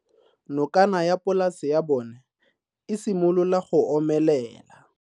Nokana ya polase ya bona, e simolola go omelela.